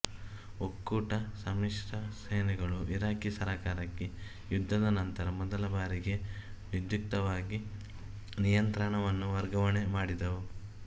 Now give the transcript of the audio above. ಒಕ್ಕೂಟ ಸಮ್ಮಿಶ್ರ ಸೇನೆಗಳು ಇರಾಕಿ ಸರ್ಕಾರಕ್ಕೆ ಯುದ್ಧದ ನಂತರ ಮೊದಲ ಬಾರಿಗೆ ವಿಧ್ಯುಕ್ತವಾಗಿ ನಿಯಂತ್ರಣವನ್ನು ವರ್ಗಾವಣೆ ಮಾಡಿದವು